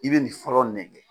I bɛ nin fɔrɔ nɛgɛ.